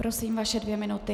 Prosím, vaše dvě minuty.